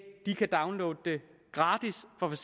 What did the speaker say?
de kan downloade det gratis fra for